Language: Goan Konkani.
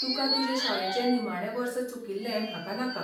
तुकां तुजे शाळेचें निमाणें वर्स चुकिल्लें म्हाका नाका.